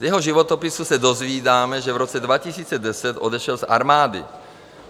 Z jeho životopisu se dozvídáme, že v roce 2010 odešel z armády.